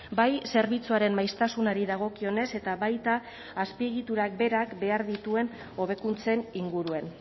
bai zerbitzuaren maiztasunari dagokionez eta baita azpiegiturak berak behar dituen hobekuntzen inguruan